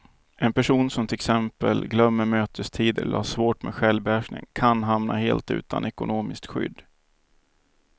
En person som till exempel glömmer mötestider eller har svårt med självbehärskningen kan hamna helt utan ekonomiskt skydd.